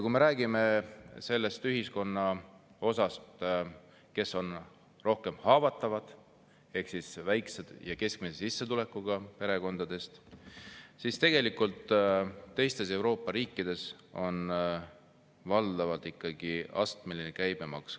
Kui me räägime sellest ühiskonna osast, kes on rohkem haavatav, ehk siis väikese ja keskmise sissetulekuga perekondadest, siis teistes Euroopa riikides on valdavalt ikkagi astmeline käibemaks.